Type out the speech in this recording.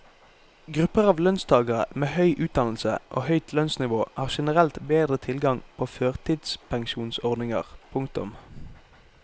Grupper av lønnstagere med høy utdannelse og høyt lønnsnivå har generelt bedre tilgang på førtidspensjonsordninger. punktum